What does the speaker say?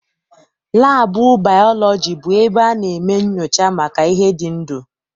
Laabụ baalọji bụ ebe a na-eme nnyocha maka ihe dị ndụ.